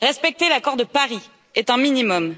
Respecter l'accord de Paris est un minimum.